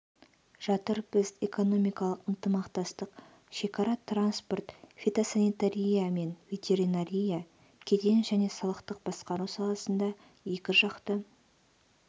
жатыр біз экономикалық ынтымақтастық шекара транспорт фитосанитария мен ветеринария кеден және салықтық басқару саласында екіжақты